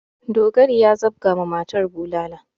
Dogari ya zabga ma matar bulala.